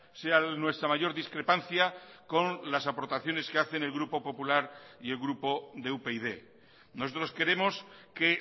sea nuestra mayor discrepancia con las aportaciones que hacen el grupo popular y el grupo de upyd nosotros queremos que